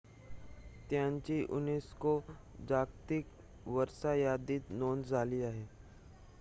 त्यांची unesco जागतिक वारसा यादीत नोंद झाली आहे